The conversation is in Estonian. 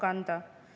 Seda mitmel põhjusel.